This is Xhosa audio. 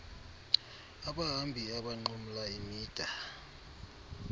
abahambi abanqumla imida